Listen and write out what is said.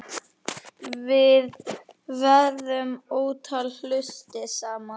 Við gerðum ótal hluti saman.